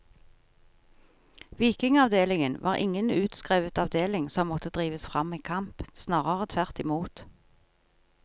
Vikingavdelingen var ingen utskrevet avdeling som måtte drives fram i kamp, snarere tvert i mot.